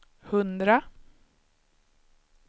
hundra